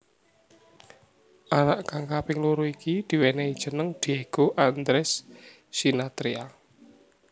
Anak kang kaping loro iki diwenehi jeneng Diego Andres Sinathrya